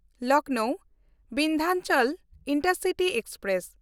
Lucknow Vindhachal intercity express